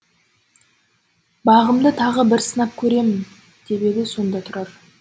бағымды тағы бір сынап көремін деп еді сонда тұрар